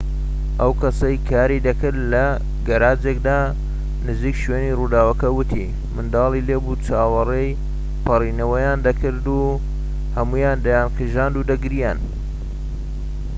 ئەو کەسەی کاری دەکرد لە گەراجێكدا نزیك شوێنی ڕووداوەکە وتی منداڵی لێبوو چاوەڕێی پەڕێنەوەیان دەکرد و هەموویان دەیانقیژاند و دەگریان